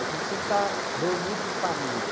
A gente sempre está reunido em família.